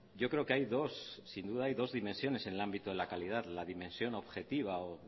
yo creo que hay dos sin duda hay dos dimensiones en el ámbito de la calidad la dimensión objetiva o